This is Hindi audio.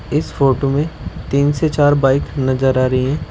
इस फोटो में तीन से चार बाइक नजर आ रही हैं।